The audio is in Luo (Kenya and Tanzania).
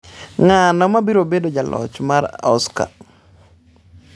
Ng’ano ma biro bedo jaloch mar Oscar?